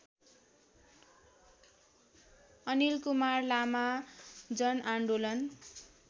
अनिलकुमार लामा जनआन्दोलन